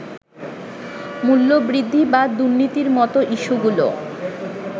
মূল্যবৃদ্ধি বা দুর্নীতির মতো ইস্যুগুলো্